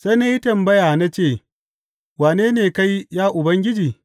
Sai na yi tambaya na ce, Wane ne kai, ya Ubangiji?’